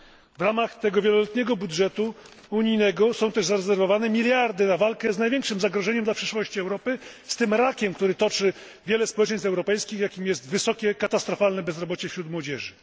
W ramach tego wieloletniego budżetu unijnego są też zarezerwowane miliardy na walkę z największym zagrożeniem dla przyszłości Europy, z tym rakiem, który toczy wiele społeczeństw europejskich, jakim jest wysokie, katastrofalne bezrobocie wśród młodzieży.